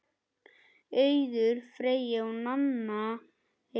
Auður Freyja og Nanna Eir.